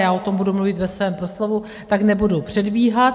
Já o tom budu mluvit ve svém proslovu, tak nebudu předbíhat.